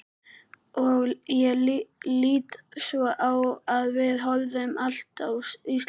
Ég lít svo á að við höfum allt á Íslandi.